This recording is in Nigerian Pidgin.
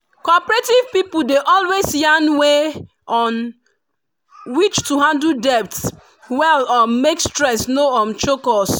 cooperative pipu dey always yarn way on um which to handle debt well um make stress no um choke us.